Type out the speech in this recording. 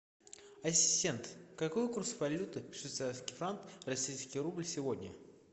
ассистент какой курс валюты швейцарский франк российский рубль сегодня